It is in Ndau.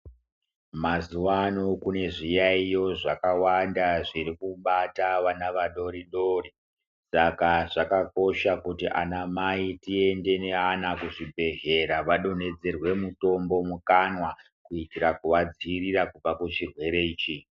Mazuwa ano kune zviyayiyo zvakawanda zviri kubata vana vadori dori saka zvakakosha kuti ana mai tiende neana kuzvibhedhlera vadonhedzerwe mutombo mukanwa kuitira kuvadzivirira kubva kuchirwere ichi.